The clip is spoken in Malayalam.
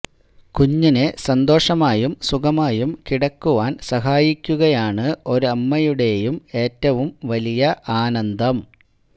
കുഞ്ഞിനെ സന്തോഷമായും സുഖമായും കിടക്കുവാന് സഹായിക്കുകയാണ് ഒരമ്മയുടെയും ഏറ്റവും വലിയ ആനന്ദം